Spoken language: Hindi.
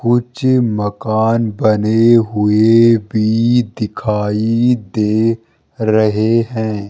कुच मकान बने हुए भी दिखाई दे रहे हैं।